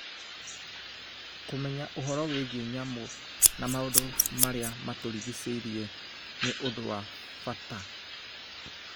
Kũmenya ũhoro wĩgiĩ nyamũ na maũndũ marĩa matũrigicĩirie nĩ ũndũ wa bata.